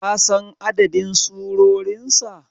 kasan adadin surorinsa?